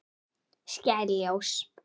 Skær ljós.